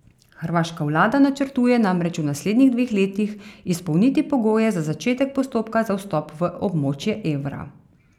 Hrvaška vlada načrtuje namreč v naslednjih dveh letih izpolniti pogoje za začetek postopka za vstop v območje evra.